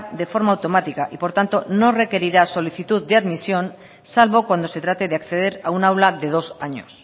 de forma automática y por tanto no requerirá solicitud de admisión salvo cuando se trate de acceder a un aula de dos años